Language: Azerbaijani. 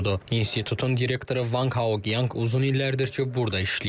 İnstitutun direktoru Vanq Haoyanq uzun illərdir ki, burda işləyir.